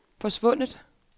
forsvundet